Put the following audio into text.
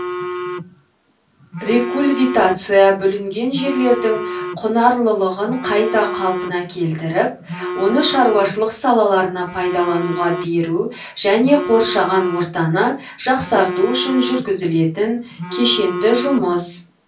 рекульвитация бүлінген жерлердің құнарлылығын қайта қалпына келтіріп оны шаруашылық салаларына пайдалануға беру және қоршаған ортаны жақсарту үшін жүргізілетін кешенді жұмыс